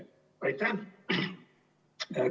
Aitäh!